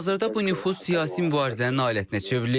Hazırda bu nüfuz siyasi mübarizənin alətinə çevrilib.